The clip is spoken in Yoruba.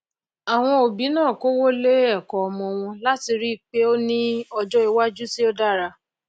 àwọn òbí náà kówó lé èkó ọmọ wọn láti ríi pé ó ní ọjó iwájú tí ó dára